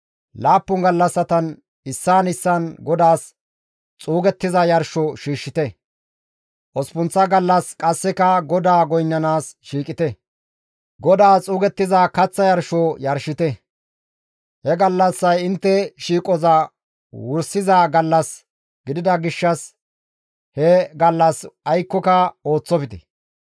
Laappun gallassatan issaan issaan GODAAS xuugettiza yarsho shiishshite; osppunththa gallas qasseka GODAA goynnanaas shiiqite; GODAAS xuugettiza kaththa yarsho yarshite; he gallassay intte shiiqoza wursiza gallas gidida gishshas he gallas aykkoka ooththofte.